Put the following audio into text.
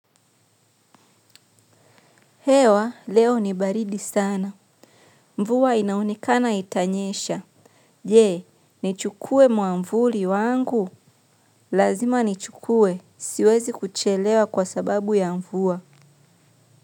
Hewa, leo ni baridi sana. Mvuwa inaonekana itanyesha. Je nichukue mwavuli wangu. Lazima ni chukue. Siwezi kuchelewa kwa sababu ya mvua.